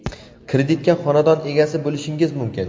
kreditga xonadon egasi bo‘lishingiz mumkin.